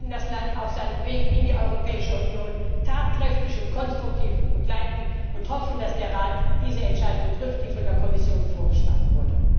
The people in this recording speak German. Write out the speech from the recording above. Wir werden das Land auf seinem Weg in die Europäische Union tatkräftig und konstruktiv begleiten und hoffen, dass der Rat diese Entscheidung trifft, die von der Kommission vorgeschlagen wurde.